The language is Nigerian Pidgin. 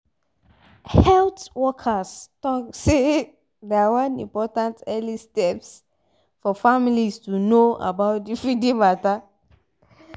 health workers talk seh na one important early steps for families to know about the feeding mata